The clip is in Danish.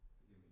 Det giver mening